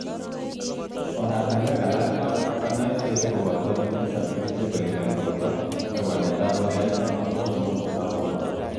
Orotunwek alak ap nyoiset kopto lilet ap kerichek koingian porto, ak walet ap ole aito mastap nguvut ap porto.